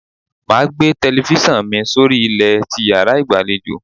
Máa gbé telifíṣàn mi sórí ilẹ̀ ti yàrá ìgbàlejò.